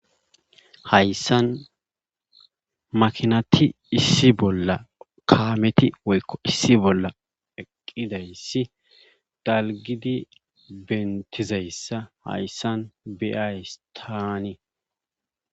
Hayssan makiinati issi bolla kaamethi issi bolla eqqidayssi dalgidi bentidayssa hayssan be'ays taani.